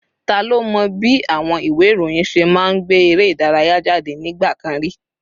Ta ló mọ bí àwọn ìwé ìròyìn ṣe máa ń gbé eré ìdárayá jáde nígbà kan rí?